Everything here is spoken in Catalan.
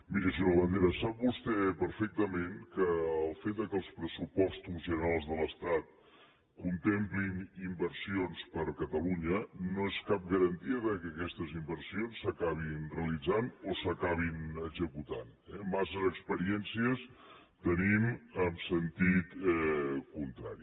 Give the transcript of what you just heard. miri senyor labandera sap vostè perfectament que el fet que els pressupostos generals de l’estat contemplin inversions per a catalunya no és cap garantia que aquestes inversions s’acabin realitzant o s’acabin executant eh massa experiències tenim en sentit contrari